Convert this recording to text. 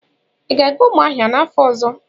Ị ga-aga Umuahia n'afọ ọzọ?